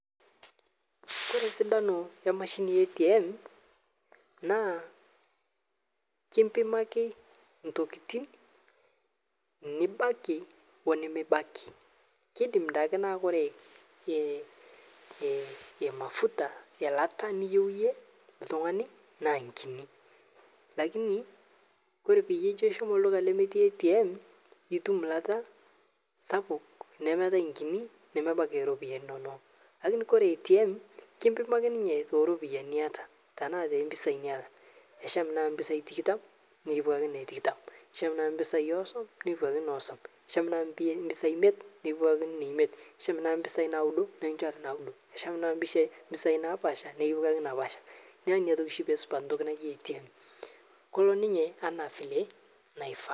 Ore esidano ee mashini ee ATM naa kimpimaki ntokitin nibaki oonimibaki kidim taake niaku ore ee mafuta niyieu iyie ltungani naa enkini lakini ore peyie Incho shomo olduka lemetii ATM itum ilata sapuk nemeetae enkini nemebaiki ropiyiani inonok lakini ore atm kimpimaki ninye too ropiyiani niataa anaa too mpisai niata nisham naaji naa ropiyiani tikitam nikipuo ake naa tikitam naa osom nepuo ake ina osom shaam naaji mpisai imiet nepuo ake nena imiet nishom naaji mpisai naudo nekinchori naaudo nishom naaji mpisai naapasha nekipuo ake naapasha niaku ina oshi pee esipa entoki naji atm kelo ninye anaa vile naifaa